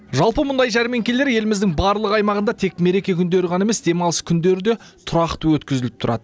жалпы мұндай жәрмеңкелер еліміздің барлық аймағында тек мереке күндері ғана емес демалыс күндері де тұрақты өткізіліп тұрады